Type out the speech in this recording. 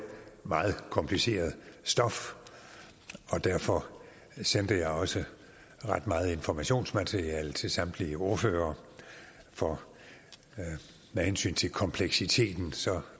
meget kompliceret stof derfor sendte jeg også ret meget informationsmateriale til samtlige ordførere for med hensyn til kompleksiteten